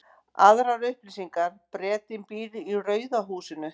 Aðrar upplýsingar: Bretinn býr í rauða húsinu.